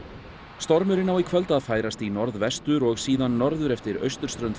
stormurinn á í kvöld að færast í norðvestur og síðan norður eftir austurströnd